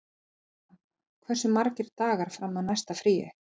Matthilda, hversu margir dagar fram að næsta fríi?